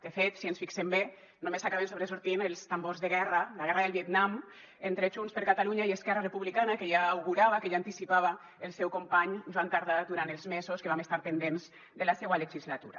de fet si ens fixem bé només acaben sobresortint els tambors de guerra la guerra del vietnam entre junts per catalunya i esquerra republicana que ja augurava que ja anticipava el seu company joan tardà durant els mesos que vam estar pendents de la seua legislatura